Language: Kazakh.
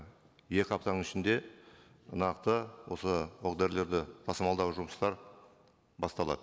екі аптаның ішінде нақты осы оқ дәрілерді тасымалдау жұмыстары басталады